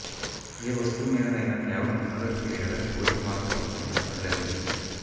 ఏ వస్తువుమీదనైనా కేవలం అనురక్తి లేదా కోరిక మాత్రముంటే అది లభించదు